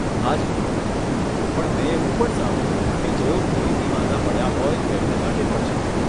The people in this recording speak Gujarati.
હાજી, પણ મેં એવું પણ સાંભળ્યું કે જેઓ ફરીથી માંદા પડ્યા હોય તેમને માટે પણ છે.